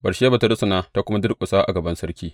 Batsheba ta rusuna ta kuma durƙusa a gaban sarki.